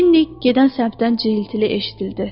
Linni gedən səmtdən cıyılıtı eşidildi.